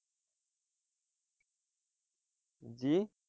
জি,